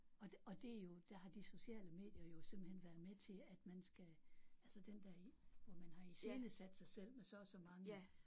Og og det er jo der har de sociale medier jo simpelthen været med til at man skal altså den der hvor man har iscenesat sig selv med så og så mange